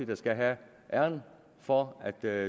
der skal have æren for at det er